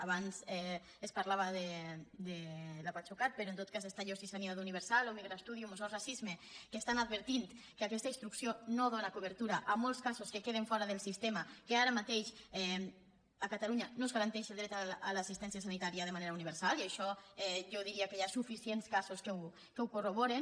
abans es parlava de la pasucat però en tot cas estan jo sí sanitat universal o migra studium o sos racisme que estan advertint que aquesta instrucció no dóna cobertura a molts casos que queden fora del sistema que ara mateix a catalunya no es garanteix el dret a l’assistència sanitària de manera universal i això jo diria que hi ha suficients casos que ho corroboren